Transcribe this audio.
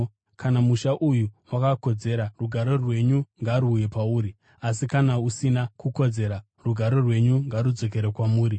Kana musha uyu wakakodzera, rugare rwenyu ngaruuye pauri asi kana usina kukodzera, rugare rwenyu ngarudzokere kwamuri.